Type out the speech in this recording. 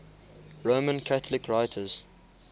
roman catholic writers